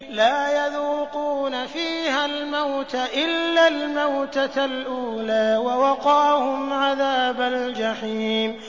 لَا يَذُوقُونَ فِيهَا الْمَوْتَ إِلَّا الْمَوْتَةَ الْأُولَىٰ ۖ وَوَقَاهُمْ عَذَابَ الْجَحِيمِ